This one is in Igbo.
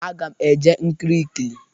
Aga m eje nkiri ikili.